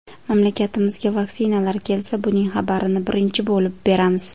Mamlakatimizga vaksinalar kelsa, buning xabarini birinchi bo‘lib beramiz”.